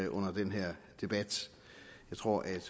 under den her debat jeg tror